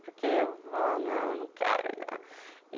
Porque eu não quero não.